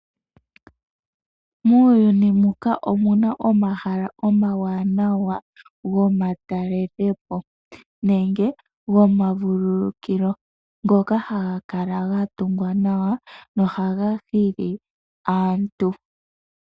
Muuyuni muka omu na omahala omawanawa gomatelopo nenge gomavululukilo, ngoka ha ga kala ga tungwa nawa noha ga hili aantu.